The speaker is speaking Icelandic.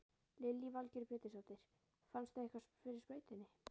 Lillý Valgerður Pétursdóttir: Fannstu eitthvað fyrir sprautunni?